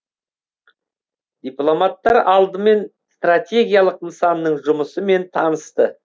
дипломаттар алдымен стратегиялық нысанның жұмысымен танысты